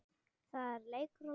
Það er leikur að læra